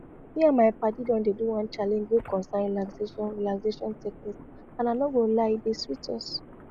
me and my padi don dey do one challenge wey concern relaxation relaxation technique and i no go lie e dey sweet us